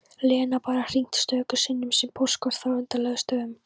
Lena bara hringt stöku sinnum, sent póstkort frá undarlegustu stöðum